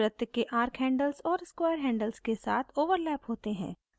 ये इस समय वृत्त के arc handles और square handle के साथ overlap होते हैं